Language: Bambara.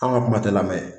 An ka kuma tɛ lamɛn